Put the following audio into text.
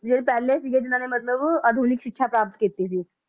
ਇਹ ਪਹਿਲੇ ਸੀਗੇ ਜਿਹਨਾਂ ਨੇ ਮਤਲਬ ਆਧੁਨਿਕ ਸ਼ਿਕ੍ਸ਼ਾ ਪ੍ਰਾਪਤ ਕੀਤੀ ਸੀ l